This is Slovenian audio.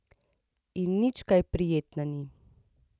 In nič kaj prijetna ni.